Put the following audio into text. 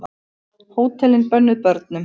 Hótelin bönnuð börnum